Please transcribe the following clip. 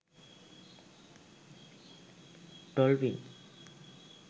dolpin